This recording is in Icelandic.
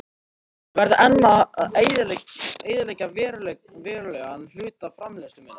Ég varð enn að eyðileggja verulegan hluta framleiðslu minnar.